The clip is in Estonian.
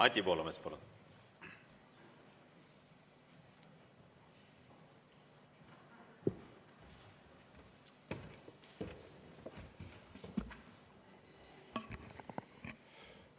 Anti Poolamets, palun!